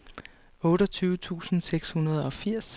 otteogtyve tusind seks hundrede og firs